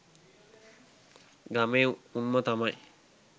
ගමේ උන්ම තමයි